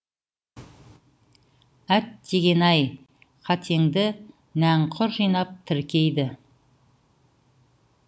әттеген ай қатеңді нәңкүр жинап тіркейді